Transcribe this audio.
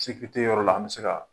Tigi tɛ yɔrɔ la an mi se ka